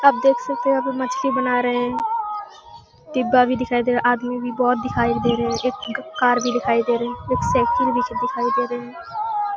आप देख सकते है यहाँ पे मछली बना रहे है डिब्बा भी दिखाई दे रहा है आदमी भी बोहत दिखाई दे रहे है एक कार भी दिखाई दे रही एक साइकिल भी पिच्छे दिखाई दे रहे हैं।